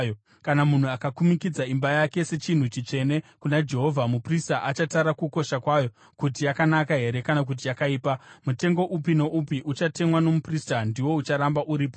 “ ‘Kana munhu akakumikidza imba yake sechinhu chitsvene kuna Jehovha, muprista achatara kukosha kwayo kuti yakanaka here kana kuti yakaipa. Mutengo upi noupi uchatemwa nomuprista, ndiwo ucharamba uripo.